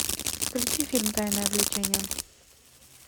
включи фильм тайное влечение